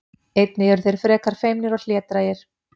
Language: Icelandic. Einnig eru þeir frekar feimnir og hlédrægir.